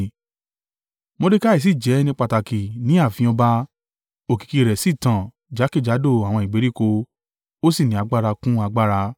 Mordekai sì jẹ́ ẹni pàtàkì ní ààfin ọba, òkìkí rẹ̀ sì tàn jákèjádò àwọn ìgbèríko, ó sì ní agbára kún agbára.